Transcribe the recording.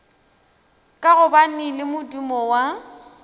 ka gobane le modumo wa